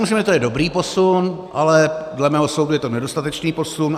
Myslím, že to je dobrý posun, ale dle mého soudu je to nedostatečný posun.